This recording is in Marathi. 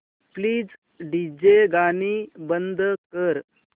प्लीज डीजे गाणी बंद कर